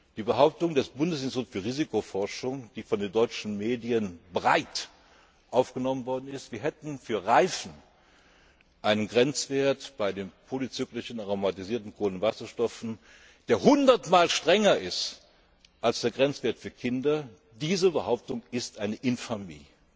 Die Behauptung des Bundesinstituts für Risikobewertung, die von den deutschen Medien breit aufgenommen worden ist, wir hätten für Reifen einen Grenzwert bei den polyzyklischen aromatischen Kohlenwasserstoffen, der hundertmal strenger ist als der Grenzwert für Kinderspielzeug, diese Behauptung ist eine Infamie.